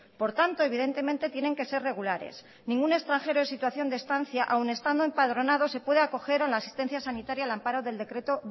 por tanto evidentemente tienen que ser regulares ningún extranjero en situación de estancia aún estando empadronado se puede acoger a la asistencia sanitaria al amparo del decreto